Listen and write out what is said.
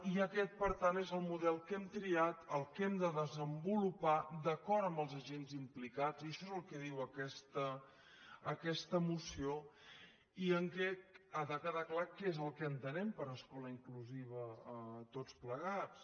i aquest per tant és el model que hem triat el que hem de desenvolupar d’acord amb els agents implicats i això és el que diu aquesta moció en què ha de quedar clar què és el que entenem per escola inclusiva tots plegats